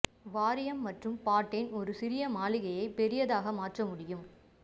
வாரியம் மற்றும் பாட்டென் ஒரு சிறு மாளிகையை பெரியதாக மாற்ற முடியும்